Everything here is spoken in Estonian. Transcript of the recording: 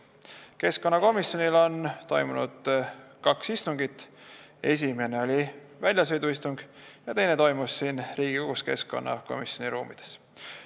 Keskkonnakomisjonis on toimunud kaks istungit: esimene oli väljasõiduistung ja teine toimus siin Riigikogus keskkonnakomisjoni ruumides.